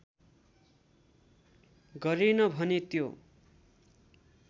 गरेन भने त्यो